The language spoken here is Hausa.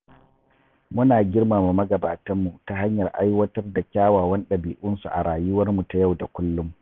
Muna girmama magabatanmu ta hanyar aiwatar da kyawawan ɗabi’unsu a rayuwarmu ta yau da kullum.